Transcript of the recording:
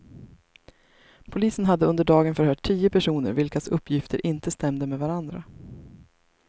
Polisen hade under dagen förhört tio personer vilkas uppgifter inte stämde med varandra.